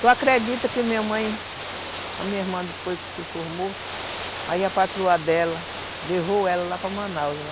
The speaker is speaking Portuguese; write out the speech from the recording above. Tu acredita que minha mãe, a minha irmã depois que se formou, aí a patroa dela levou ela lá para Manaus, né?